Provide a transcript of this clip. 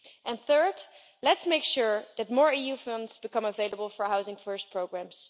And third, let's make sure that more EU funds become available for Housing First programmes.